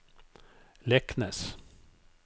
Leknes